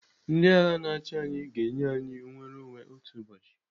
Ndị agha na-achi anyị ga-enye anyị nnwereonwe otu ụbọchị.